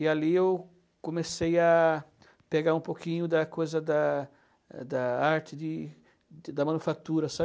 E ali eu comecei a pegar um pouquinho da coisa da da arte de da manufatura, sabe?